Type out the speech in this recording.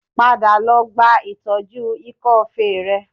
Padà lọ gba ìtọ́jú ikọ́ọfe rẹ